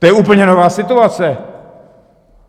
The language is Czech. To je úplně nová situace.